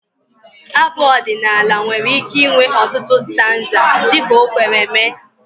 Abụ ọdịnala nwere ike inwe ọtụtụ stanza dị ka o kwere mee